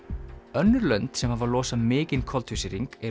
önnur lönd sem hafa losað mikinn koltvísýring eru